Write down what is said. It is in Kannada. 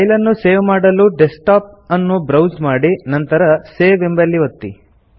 ಫೈಲ್ ಅನ್ನು ಸೇವ್ ಮಾಡಲು ಡೆಸ್ಕ್ಟಾಪ್ ಅನ್ನು ಬ್ರೌಸ್ ಮಾಡಿ ನಂತರ ಸೇವ್ ಎಂಬಲ್ಲಿ ಒತ್ತಿ